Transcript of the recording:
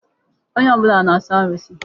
Onye ọbụla na-asọ arụsị.